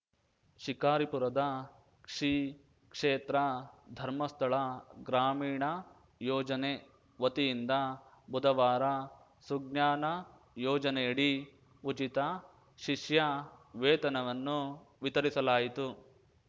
ಶಿಕಾರಿಪುರದ ಶ್ರೀಕ್ಷೇತ್ರಧರ್ಮಸ್ತಳಗ್ರಾಮೀಣಯೋಜನೆ ವತಿಯಿಂದ ಬುಧವಾರ ಸುಜ್ಞಾನ ಯೋಜನೆಯಡಿ ಉಚಿತ ಶಿಷ್ಯ ವೇತನವನ್ನು ವಿತರಿಸಲಾಯಿತು